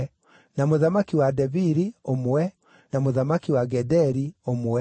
na mũthamaki wa Debiri, ũmwe, na mũthamaki wa Gederi, ũmwe,